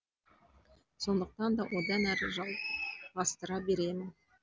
сондықтан да одан әрі жалғастыра беремін